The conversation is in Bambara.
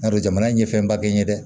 N y'a dɔn jamana in ye fɛnba kɛ n ye dɛ